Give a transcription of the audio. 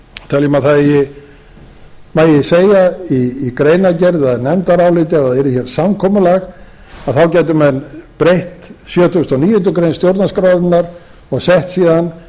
teljum að það megi segja í greinargerð eða nefndaráliti að ef það yrði hér samkomulag gætu menn breytt sjötugasta og níundu grein stjórnarskrárinnar og sett síðan